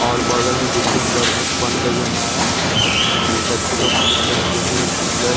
और बगल में बिल्डिंग बर बन रही है नाया और बच्चे लोग खेल रहे हैं जो कि एक ब्लैक --